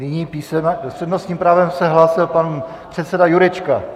S přednostním právem se hlásil pan předseda Jurečka.